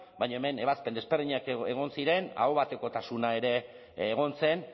baina hemen ebazpen desberdinak egon ziren aho batekotasuna ere egon zen